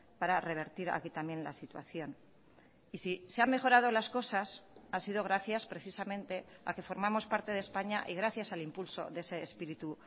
para revertir aquí también la situación y si se ha mejorado las cosas ha sido gracias precisamente a que formamos parte de españa y gracias al impulso de ese espíritu